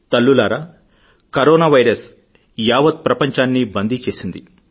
తల్లులారా corona virus యావత్ ప్రపంచాన్నీ బందీచేసింది